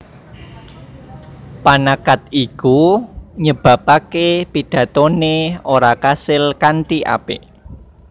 Panacad iku nyebabaké pidatoné ora kasil kanthi apik